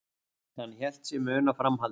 Hann hélt sig muna framhaldið.